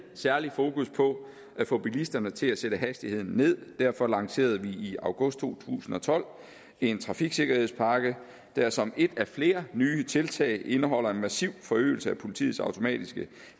særlig fokus på at få bilisterne til at sætte hastigheden ned og derfor lancerede vi i august to tusind og tolv en trafiksikkerhedspakke der som et af flere nye tiltag indeholder en massiv forøgelse af politiets automatiske